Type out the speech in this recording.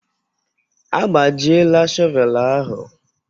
Agbajiela shọvel ahụ